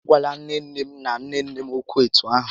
A gwala nné nné m na nné nné m ókwú etu ahụ!